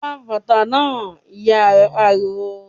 "Gba bàtà náà!", Ìyá rẹ̀ pariwo